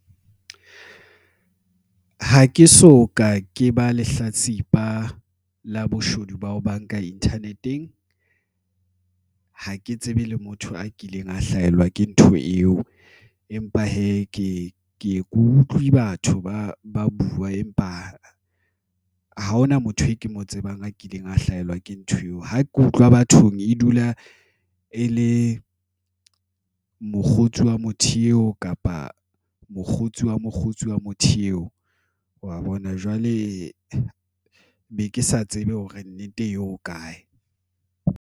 Ha ke so ka ke ba lehlatsipa la boshodu ba ho banka Internet-eng ha ke tsebe le motho a kileng a hlahelwa ke ntho eo, empa hee ke ye ke utlwe batho ba buwa, empa ha hona motho e ke mo tsebang a kileng a hlahelwa ke ntho eo. Ha ke utlwa bathong. E dula e le mokgotsi wa motho eo kapa mokgotsi wa mokgotsi wa motho eo wa bona jwale e be ke sa tsebe hore nnete eo ho kae,